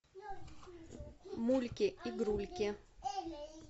мульки игрульки